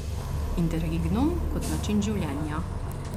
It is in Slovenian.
Interregnum kot način življenja.